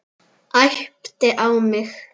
Æpti á mig.